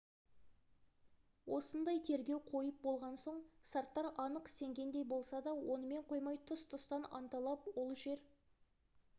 осындай тергеу қойып болған соң сарттар анық сенгендей болса да онымен қоймай тұс-тұстан анталап ол жер